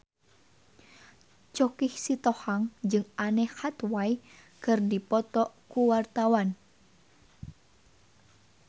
Choky Sitohang jeung Anne Hathaway keur dipoto ku wartawan